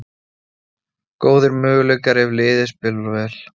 Góðir möguleikar ef liðið spilar vel